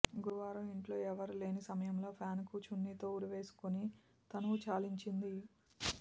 గురువారం ఇంట్లో ఎవరూ లేని సమయంలో ఫ్యాన్కు చున్నీతో ఉరేసుకుని తనువు చాలించింది